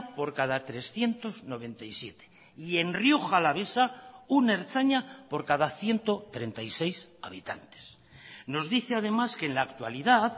por cada trescientos noventa y siete y en rioja alavesa un ertzaina por cada ciento treinta y seis habitantes nos dice además que en la actualidad